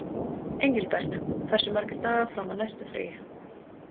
Engilbert, hversu margir dagar fram að næsta fríi?